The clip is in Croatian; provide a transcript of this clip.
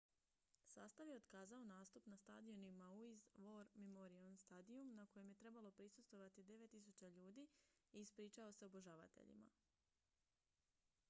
sastav je otkazao nastup na stadionu maui's war memorial stadium na kojem je trebalo prisustvovati 9.000 ljudi i ispričao se obožavateljima